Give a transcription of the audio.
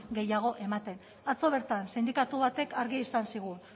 gehiago ematen atzo bertan sindikatu batek argi esan zigun